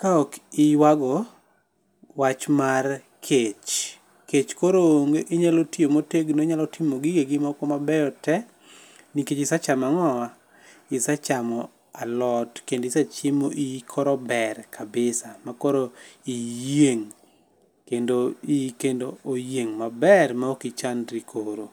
ka ok iywago wach mar kech. Kech koro onge inyalo tiyo motegno, inya timo gigegi moko mabeyo te nikach isechamo ang'owa, isechamo alot. Kinde isechiemo iyi koro ber kabisa makoro iyieng',kendo iyi kendo oyieng' maber ma ok ichandri koro.